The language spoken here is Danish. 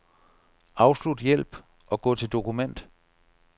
Afslut hjælp og gå til dokument.